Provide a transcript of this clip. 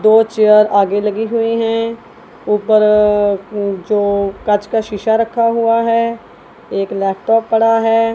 दो चेयर आगे लगे हुए हैं ऊपर जो कांच का शीशा रखा हुआ है एक लैपटॉप पड़ा है।